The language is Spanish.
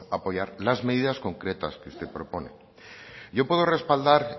apoyar las medidas concretas que usted propone yo puedo respaldar